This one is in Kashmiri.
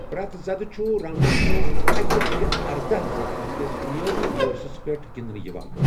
پرٮ۪تھ ذدٕ چھُ راؤنڈَس منٛز اکہِ لٹہِ ارَداہَ ذدَن ہنٛدس بُنِیٲدی کورسَس پٮ۪ٹھ گنٛدٕنہٕ یِوان۔